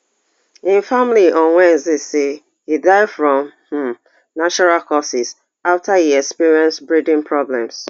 im family on wednesday say e die from um natural causes afta e experience breathing problems